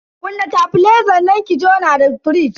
Kunna tebilezan ki jona da firij.